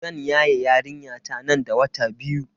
Zan yaye yarinyata nan da wata biyu.